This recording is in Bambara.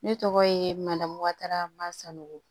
Ne tɔgɔ ye mandamu wara masako